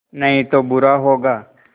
नहीं तो बुरा होगा